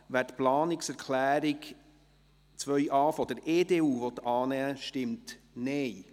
wer die Planungserklärung 2.a der EDU annehmen will, stimmt Nein.